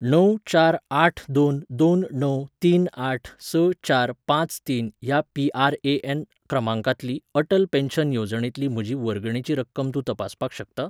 णव चार आठ दोन दोन णव तीन आठ स चार पाच तीन ह्या पी.आर.ए.एन. क्रमांकातली अटल पेन्शन येवजणेंतली म्हजी वर्गणेची रक्कम तूं तपासपाक शकता?